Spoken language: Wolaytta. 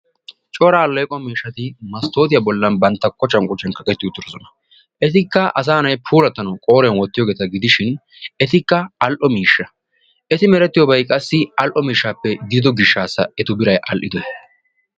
Cora alleeqo miishshati masttootiya bollan bantta kocan kocan kaqetti uttidosona. Etikka asaa na"ayi puulattanawu qooriyan wottiyogeeta gidishin etikka all"o miishsha. Eti merettiyoyikka all"o miishshaappe godido gishshaassa eta birayi all"idoyi.